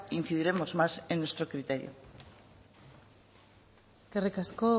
incidiremos más en nuestro criterio eskerrik asko